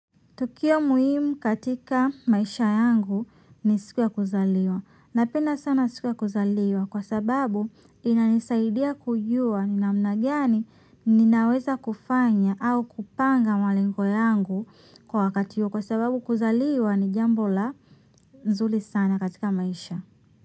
Tukio muhimu katika maisha yangu ni siku ya kuzaliwa. Napenda sana siku ya kuzaliwa kwa sababu inanisaidia kujua ni namna gani ninaweza kufanya au kupanga malengo yangu kwa wakati huo kwa sababu kuzaliwa ni jambo la nzuri sana katika maisha.